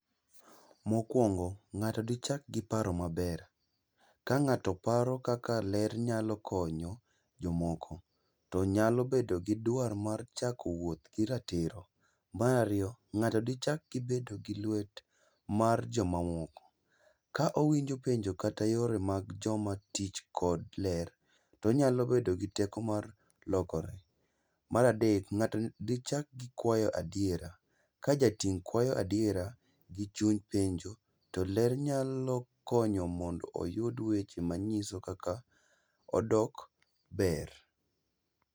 Mokwongo ng'ato dichak gi paro maber. Ka ng'ato paro kaka ler nyalo konyo jomoko, to nyalo bedo gi dwar mar chako wuoth gi ratiro. Mar ariyo, ng'ato dichak bet gi lwet mar jomamoko, ka owinjo penjo kata yore mag jomatich kod ler, to onyalo bedo gi teko mar lokore. Mar adek, ng'ato dichak gi kwayo adiera ka jating' kwayo adiera gi chuny penjo to ler nyalo konyo mondo oyud weche manyiso kaka odok ber.